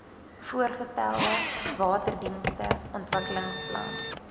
voorgestelde waterdienste ontwikkelingsplan